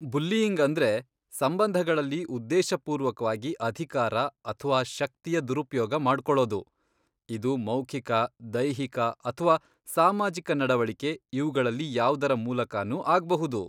Bullying ಅಂದ್ರೆ ಸಂಬಂಧಗಳಲ್ಲಿ ಉದ್ದೇಶಪೂರ್ವಕ್ವಾಗಿ ಅಧಿಕಾರ ಅಥ್ವಾ ಶಕ್ತಿಯ ದುರುಪ್ಯೋಗ ಮಾಡ್ಕೊಳೋದು, ಇದು ಮೌಖಿಕ, ದೈಹಿಕ ಅಥ್ವಾ ಸಾಮಾಜಿಕ ನಡವಳಿಕೆ ಇವ್ಗಳಲ್ಲಿ ಯಾವ್ದರ ಮೂಲಕನೂ ಆಗ್ಬಹುದು.